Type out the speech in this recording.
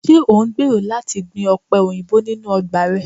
Ṣe o ngbero lati gbin ope oyinbo ninu ọgba rẹ?